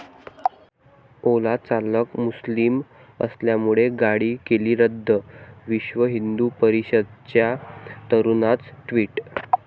ओला चालक मुस्लिम असल्यामुळे गाडी केली रद्द', विश्व हिंदू परिषदेच्या तरुणाचं ट्विट